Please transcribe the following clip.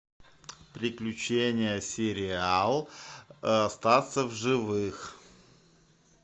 приключения сериал остаться в живых